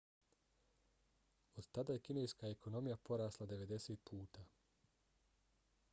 od tada je kineska ekonomija porasla 90 puta